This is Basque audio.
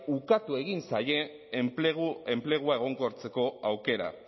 ukatu egin zaie enplegua egonkortzeko aukera